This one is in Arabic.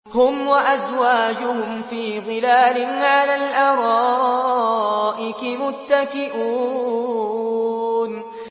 هُمْ وَأَزْوَاجُهُمْ فِي ظِلَالٍ عَلَى الْأَرَائِكِ مُتَّكِئُونَ